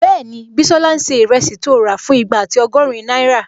Bẹ́ẹ̀ni, Bísọ́lá n ṣe ìrẹsì tó rà fún igba ati ọgọ́rin náírà